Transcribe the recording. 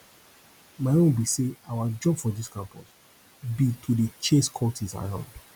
my own be say our job for dis campus be to dey chase cultists around